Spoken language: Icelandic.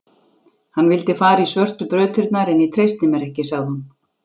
Hann vildi fara í svörtu brautirnar en ég treysti mér ekki, sagði hún.